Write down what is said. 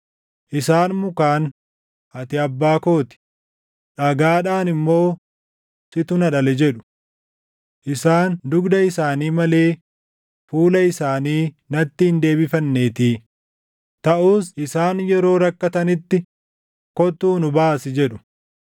Isaan mukaan, ‘Ati abbaa koo ti,’ dhagaadhaan immoo, ‘Situ na dhale’ jedhu. Isaan dugda isaanii malee fuula isaanii natti hin deebifanneetii; taʼus isaan yeroo rakkatanitti, ‘Kottuu nu baasi!’ jedhu.